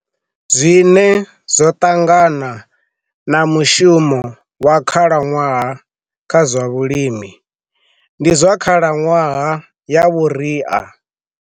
Zwine zwo ṱangana na mushumo wa khalaṅwaha kha zwa vhulimi, ndi zwa khalaṅwaha ya vhuria.